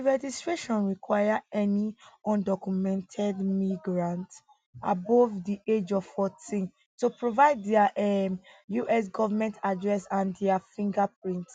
di registration require any undocumented migrants above di age of 14 to provide dia um us government address and dia fingerprints